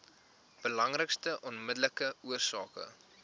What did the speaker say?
belangrikste onmiddellike oorsake